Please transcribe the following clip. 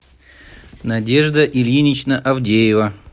надежда ильинична авдеева